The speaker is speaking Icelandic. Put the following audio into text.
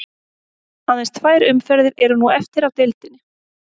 Aðeins tvær umferðir eru nú eftir af deildinni.